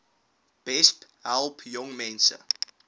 besp help jongmense